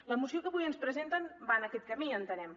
la moció que avui ens presenten va en aquest camí entenem